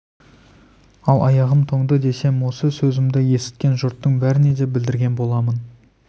ал аяғым тоңды десем осы сөзімді есіткен жұрттың бәріне де білдірген болам